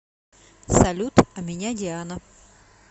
салют а меня диана